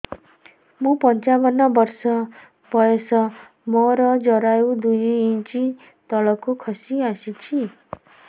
ମୁଁ ପଞ୍ଚାବନ ବର୍ଷ ବୟସ ମୋର ଜରାୟୁ ଦୁଇ ଇଞ୍ଚ ତଳକୁ ଖସି ଆସିଛି